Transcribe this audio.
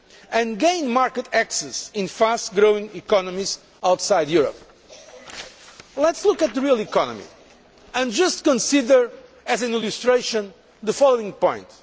and gain market access in fast growing economies outside Europe. Let us look at the real economy and just consider, as an illustration, the following point.